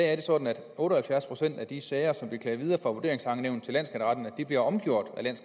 er det sådan at otte og halvfjerds procent af de sager som bliver klaget videre fra vurderingsankenævn til landsskatteretten bliver omgjort